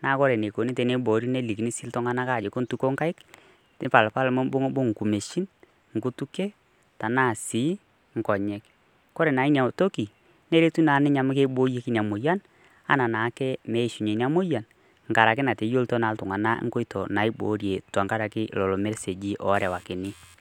na ore enikuni peibori ina moyian na ltunganak ejokini meituko nkaik, mibungungu ngumeishin, nkutukie na keyieni naa niboori inamoyian ana peishunye ina moyian anaa nkoitoi naiboorie tenkaraki lolo meseji orewakitae .